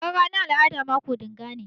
Taron ranan al'ada mako dinga ne.